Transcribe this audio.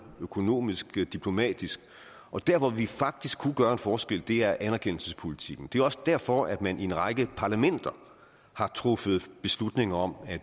økonomisk og diplomatisk og der hvor vi faktisk kunne gøre en forskel er ved anerkendelsespolitikken det er også derfor at man i en række parlamenter har truffet beslutning om at